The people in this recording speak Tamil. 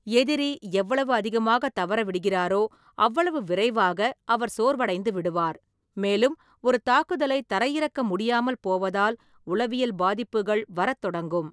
எதிரி எவ்வளவு அதிகமாக தவறவிடுகிறாரோ, அவ்வளவு விரைவாக அவர் சோர்வடைந்து விடுவார், மேலும் ஒரு தாக்குதலை தரையிறக்க முடியாமல் போவதால் உளவியல் பாதிப்புகள் வரத் தொடங்கும்.